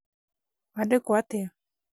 waandĩkwo atĩa?